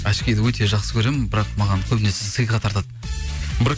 очкиді өте жақсы көремін бірақ маған көбінесе сыйға тартады